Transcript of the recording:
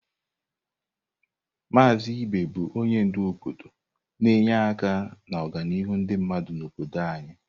Maazị Ibe bụ onye ndu obodo na-enye aka n'ọganihu ndị mmadụ n'obodo anyị.